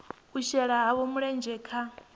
u shela havho mulenzhe kha